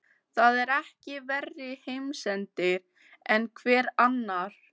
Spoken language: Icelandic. Það er ekki verri heimsendir en hver annar.